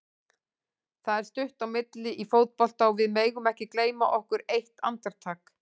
Það er stutt á milli í fótbolta og við megum ekki gleyma okkur eitt andartak.